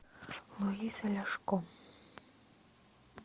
луиза ляшко